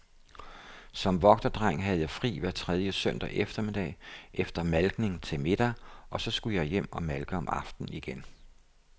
Som vogterdreng havde jeg fri hver tredje søndag eftermiddag, efter malkning til middag, og så skulle jeg hjem og malke om aftenen igen.